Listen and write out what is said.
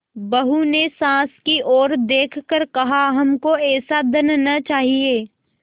बहू ने सास की ओर देख कर कहाहमको ऐसा धन न चाहिए